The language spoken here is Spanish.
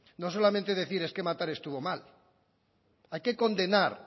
no solamente decir es que matar estuvo mal hay que condenar